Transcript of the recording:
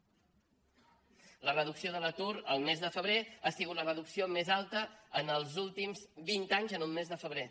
la reducció de l’atur el mes de febrer ha sigut la reducció més alta en els últims vint anys en un mes de febrer